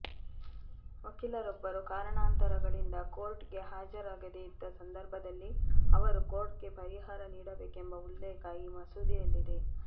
ವಕೀಲರೊಬ್ಬರು ಕಾರಣಾಂತರಗಳಿಂದ ಕೋರ್ಟ್ಗೆ ಹಾಜರಾಗದೇ ಇದ್ದ ಸಂದರ್ಭದಲ್ಲಿ ಅವರು ಕೋರ್ಟ್ಗೆ ಪರಿಹಾರ ನೀಡಬೇಕೆಂಬ ಉಲ್ಲೇಖ ಈ ಮಸೂದೆಯಲ್ಲಿದೆ